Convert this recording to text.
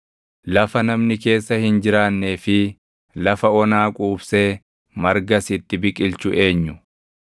lafa namni keessa hin jiraannee fi lafa onaa quubsee margas itti biqilchu eenyu?